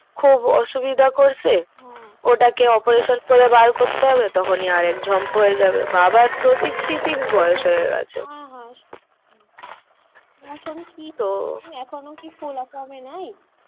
খুব অসুবিধা করছে হ্যা ওটাকে operation করে বার করতে হবে তখনি আরেক ঝম্প হয়ে যাবে বাবার তো sixty six বয়স হয়ে গাছে হ্যা হ্যা এখন কি তো এখনো কি ফোলা কমে নাই?